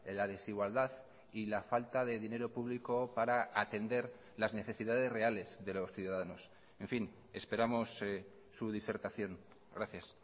la desigualdad y la falta de dinero público para atender las necesidades reales de los ciudadanos en fin esperamos su disertación gracias